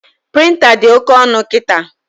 Prịnta dị oke ọnụ kịta